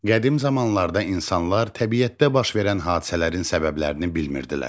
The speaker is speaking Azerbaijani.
Qədim zamanlarda insanlar təbiətdə baş verən hadisələrin səbəblərini bilmirdilər.